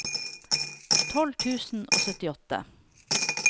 tolv tusen og syttiåtte